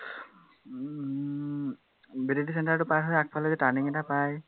বেদৰতৰী center টো পাৰ হৈ আগফালে যে turning এটা পায়